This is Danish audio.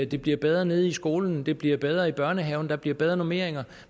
det bliver bedre nede i skolen det bliver bedre i børnehaven der bliver bedre normeringer